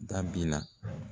Dabila.